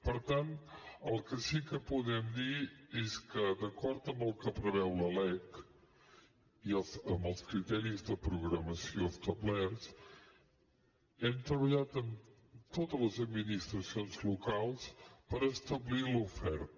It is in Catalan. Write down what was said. per tant el que sí que podem dir és que d’acord amb el que preveu la lec i amb els criteris de programació establerts hem treballat amb totes les administracions locals per establir l’oferta